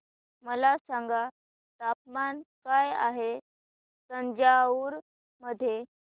मला सांगा तापमान काय आहे तंजावूर मध्ये